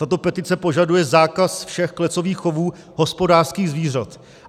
Tato petice požaduje zákaz všech klecových chovů hospodářských zvířat.